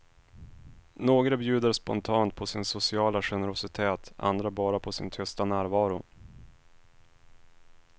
Några bjuder spontant på sin sociala generositet, andra bara på sin tysta närvaro.